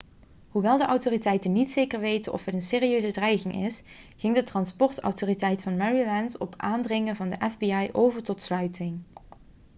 hoewel de autoriteiten niet zeker weten of het een serieuze dreiging is ging de transportautoriteit van maryland op aandringen van de fbi over tot sluiting